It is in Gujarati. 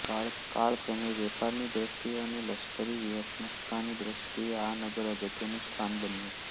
કાળક્રમે વેપારની દ્રષ્ટિએ અને લશ્કરી વ્યૂહત્મકતાની દ્રષ્ટિએ આ નગર અગત્યનું સ્થાન બન્યું